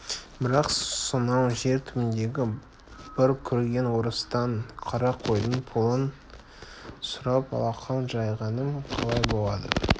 бірақ сонау жер түбіндегі бір көрген орыстан қара қойдың пұлын сұрап алақан жайғаным қалай болады